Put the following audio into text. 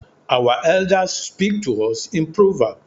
Our Elders speak to us in proverb.